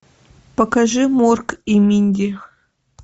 покажи морк и минди